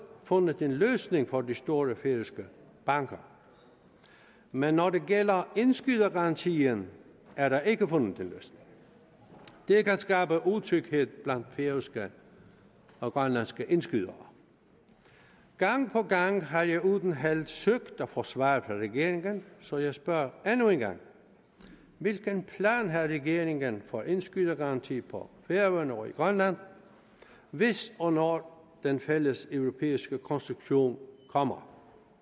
fundet en løsning for de store færøske banker men når det gælder indskydergarantien er der ikke fundet en løsning det kan skabe utryghed blandt færøske og grønlandske indskydere gang på gang har jeg uden held søgt at få svar fra regeringen så jeg spørger endnu en gang hvilken plan har regeringen for indskydergaranti på færøerne og i grønland hvis og når den fælleseuropæiske konstruktion kommer